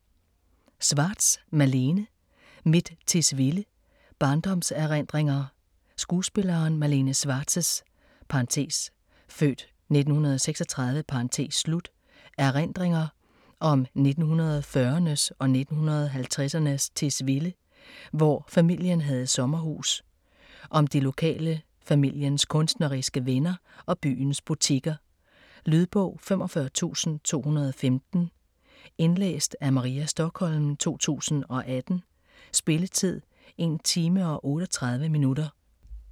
Schwartz, Malene: Mit Tisvilde: barndomserindringer Skuespillerinden Malene Schwartz' (f. 1936) erindringer om 1940'ernes og 1950'ernes Tisvilde, hvor familien havde sommerhus. Om de lokale, familiens kunstneriske venner og byens butikker. Lydbog 45215 Indlæst af Maria Stokholm, 2018. Spilletid: 1 time, 38 minutter.